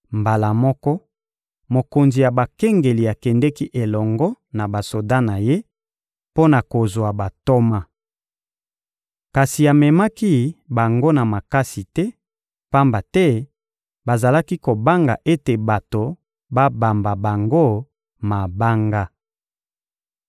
Mbala moko, mokonzi ya bakengeli akendeki elongo na basoda na ye mpo na kozwa bantoma. Kasi amemaki bango na makasi te, pamba te bazalaki kobanga ete bato babamba bango mabanga.